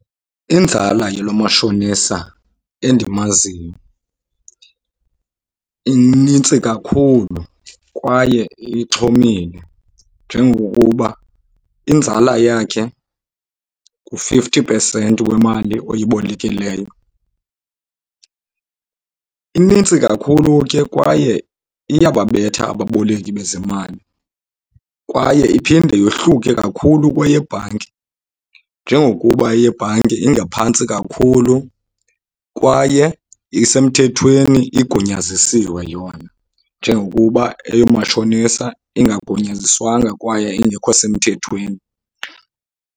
Inzala yalo mashonisa endimaziyo inintsi kakhulu kwaye ixhomile njengokuba inzala yakhe ngu-fifty percent wemali oyibolekileyo. Inintsi kakhulu ke kwaye iyababetha ababoleki bezemali. Kwaye iphinde yohluke kakhulu kwayebhanki njengokuba eyebhanki ingaphantsi kakhulu, kwaye isemthethweni igunyazisiwe yona njengokuba eyomatshonisa ingagunyaziswanga kwaye ingekho semthethweni.